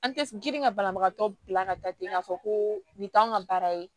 An tɛ girin ka banabagatɔ bila ka taa ten k'a fɔ ko nin t'an ka baara ye